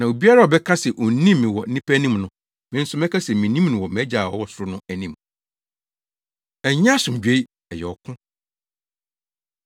Na obiara a ɔbɛka se onnim me wɔ nnipa anim no, me nso mɛka se minnim no wɔ mʼagya a ɔwɔ ɔsoro no anim. Ɛnyɛ Asomdwoe, Ɛyɛ Ɔko